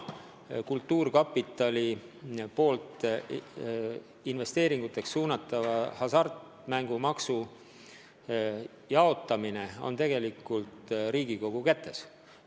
Kultuurkapitali poolt investeeringuteks suunatava hasartmängumaksu jaotamine on tegelikult Riigikogu kätes.